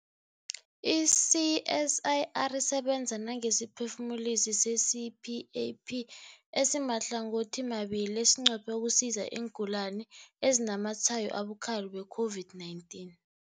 I-CSIR isebenza nangesiphefumulisi se-CPAP esimahlangothimabili esinqophe ukusiza iingulani ezinazamatshwayo abukhali we-COVID-19.